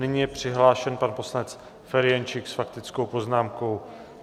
Nyní je přihlášen pan poslanec Ferjenčík s faktickou poznámkou.